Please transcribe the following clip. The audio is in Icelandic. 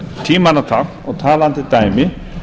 tímanna tákn og talandi dæmi